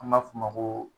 An b'a f'o ma ko